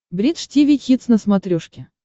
бридж тиви хитс на смотрешке